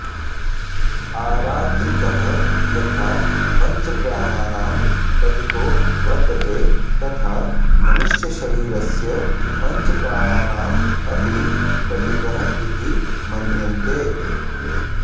आरात्रिकः यथा पञ्चप्राणानां प्रतिको वर्तते तथा मनुष्यशरीरस्य पञ्चप्राणानां अपि प्रतिकःइति मन्यन्ते